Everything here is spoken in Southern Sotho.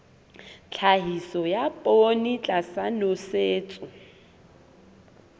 tlhahiso ya poone tlasa nosetso